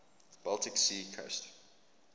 baltic sea coast